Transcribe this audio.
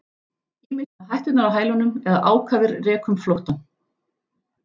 Ýmist með hætturnar á hælunum eða ákafir rekum flóttann.